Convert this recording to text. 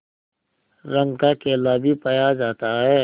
रंग का केला भी पाया जाता है